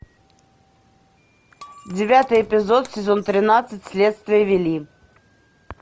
девятый эпизод сезон тринадцать следствие вели